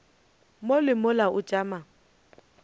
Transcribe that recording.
mo le mola o tšama